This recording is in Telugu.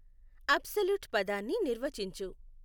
ఆబ్సలూట్ పదాన్ని నిర్వచించు